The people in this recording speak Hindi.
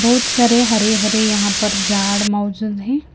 बहुत सारे हरे-हरे यहाँ पर झाड़ मौजूद हैं।